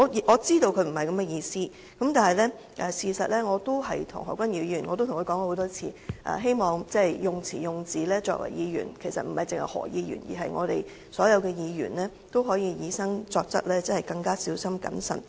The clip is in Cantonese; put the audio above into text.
我知道他不是這個意思，但事實上也曾多次對何君堯議員說，希望他作為議員，以至其他所有議員，都應以身作則，在用詞用字時更加小心謹慎。